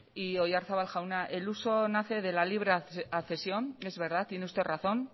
y oyarzabal jauna el uso nace de la libre accesión es verdad tiene usted razón